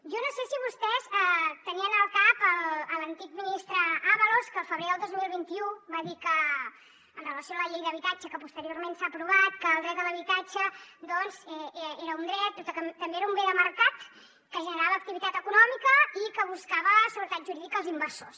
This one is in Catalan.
jo no sé si vostès tenien al cap l’antic ministre ábalos que el febrer del dos mil vint u va dir amb relació a la llei d’habitatge que posteriorment s’ha aprovat que el dret a l’habitatge doncs era un dret que també era un bé de mercat que generava activitat econòmica i que buscava seguretat jurídica per als inversors